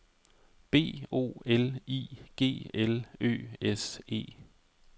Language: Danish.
B O L I G L Ø S E